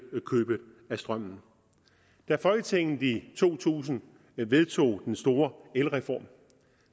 købet af strømmen da folketinget i to tusind vedtog den store elreform